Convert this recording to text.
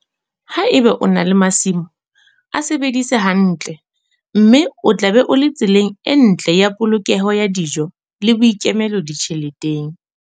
Ha eba o na le masimo, a sebedise hantle, mme o tla be o le tseleng e ntle ya polokeho ya dijo le boikemelo ditjheleteng.